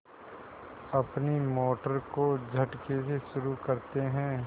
अपनी मोटर को झटके से शुरू करते हैं